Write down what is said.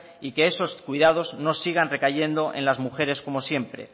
y que esos cuidados no sigan recayendo en las mujeres como siempre